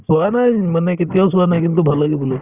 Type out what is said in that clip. বহা নাই মানে কেতিয়াও চোৱা কিন্তু ভাল লাগে বোলে